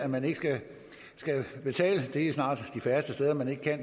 man ikke betale for det det er snart de færreste steder man ikke